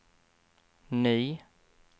ny